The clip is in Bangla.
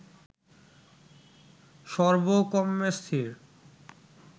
সর্ব্বকর্ম্মে স্থির